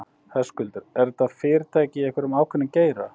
Höskuldur: Eru þetta fyrirtæki í einhverjum ákveðnum geira?